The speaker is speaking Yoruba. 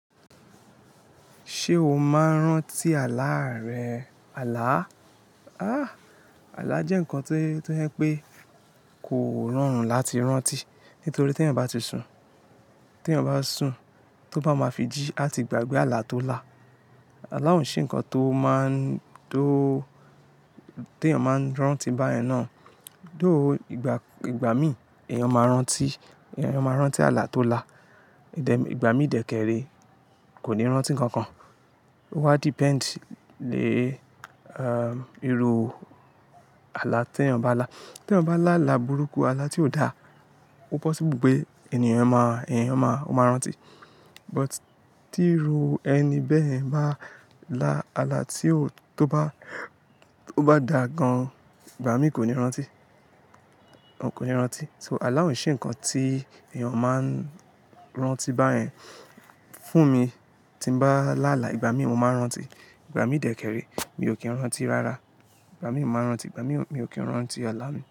Ṣé o máa ń rántí àlá rẹ? Àlá. Ah! Àlá jẹ́ nǹkan tó yẹ́ pé kò rọrùn láti rántí, nítorí tí ènìyàn bá ti sun, tí ènìyàn bá sun, tó bá máa fi jí á ti gbàgbé àlá tó lá. Àlá òún ṣe nǹkan tó máa ń-- tó, tí ènìyàn máa ń rántí báyẹn náà. Dóhù ìgbà, ìgbà mí èèyàn máa rántí, èèyàn máa rántí àlá tó lá. Ìdẹ-- ìgbà mí dẹ̀kẹ̀rẹ̀ kò ní rántí nǹkan kan. Ó wa depend lé, er, irú àlá tí ènìyàn bá lá. Tí ènìyàn bá lá àlá burúkú, àlá tí ò dá, ó possible pé ènìyàn máa, ènìyàn máa, ó máa rántí. But tí irú ẹni bẹ́ẹ̀ ń bá lá àlá tí ó, tó bá, tó bá dà gan-an, ìgbà mí kò ní rántí, kò ní rántí. So àlá òún ṣe nǹkan tí ènìyàn máa ń rántí báyẹn. Fún mi, tí mo bá lá àlá ìgbà mí, mo máa rántí. Ìgbà mí dẹ̀kẹ̀rẹ̀ mi ò kí ń rántí rárá. Ìgbà mí máa ń rántí, ìgbà mí, mi ò kí ń rántí àlá mi.